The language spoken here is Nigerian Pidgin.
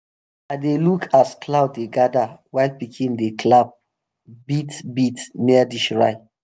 i dey look as cloud dey gather while pikin dem dey clap beat beat near the shrine.